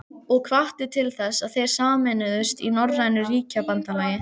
Rök böndin þornuðu og reyrðu sig fastar að úlnliðunum.